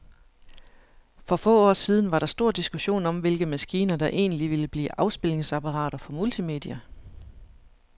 For få år siden var der stor diskussion om, hvilke maskiner, der egentlig ville blive afspilningsapparater for multimedia.